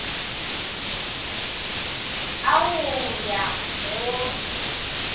a go ya go h